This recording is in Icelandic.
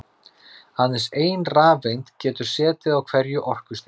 Aðeins ein rafeind getur setið á hverju orkustigi.